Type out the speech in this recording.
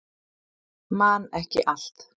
Man ekki allt